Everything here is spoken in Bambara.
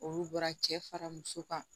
Olu bɔra cɛ fara muso kan